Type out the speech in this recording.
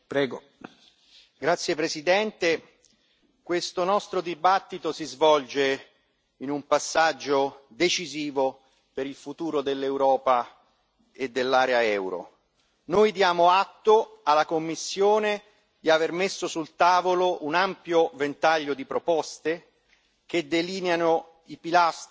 Signor Presidente, onorevoli colleghi, questo nostro dibattito si svolge in un passaggio decisivo per il futuro dell'Europa e dell'area euro. Noi diamo atto alla Commissione di aver messo sul tavolo un ampio ventaglio di proposte che delineano i pilastri